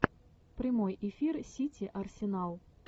прямой эфир сити арсенал